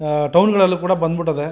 ಆಹ್ಹ್ town ಗಳೆಲ್ಲ ಕೂಡ ಬಂದ್ ಬಿಟ್ಟೈತೆ-